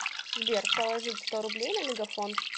сбер положить сто рублей на мегафон